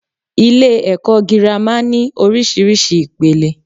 Ilè èkó girama ní orísirísi ìpele